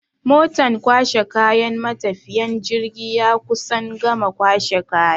Motan kwashe kayan matafiyan jirgi ya kusan gama kwashe kaya.